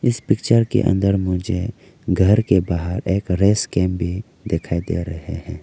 इस पिक्चर के अंदर मुझे घर के बाहर एक रेस गेम भी दिखाई दे रहे हैं।